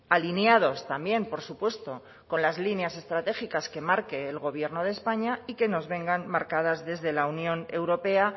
alineados también por supuesto con las líneas estratégicas que marque el gobierno de españa y que nos vengan marcadas desde la unión europea